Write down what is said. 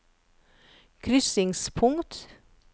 krysningspunkt